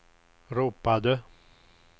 ropade